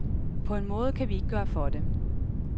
På en måde kan vi ikke gøre for det.